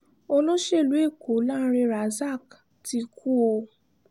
olóṣèlú ẹ̀kọ́ lánrẹ́ razak ti kú o